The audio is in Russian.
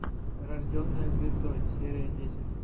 рожденная звездой серия десять